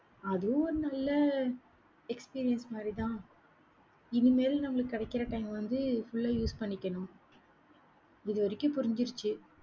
அதுவும் ஒரு நல்ல experience மாதிரிதான். இனிமேலும், நம்மளுக்கு கிடைக்கிற time வந்து full அ use பண்ணிக்கணும். இது வரைக்கும் புரிஞ்சிருச்சு